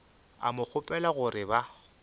a mo kgopela gore ba